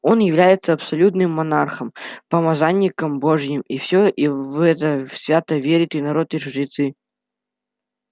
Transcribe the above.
он является абсолютным монархом помазанником божьим и всё и в это свято верят и народ и жрецы